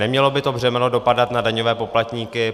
Nemělo by to břemeno dopadat na daňové poplatníky.